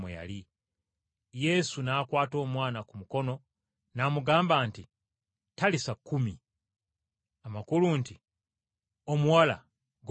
Yesu n’akwata omwana ku mukono n’amugamba nti, “Talisa kumi!” amakulu nti, “Omuwala golokoka!”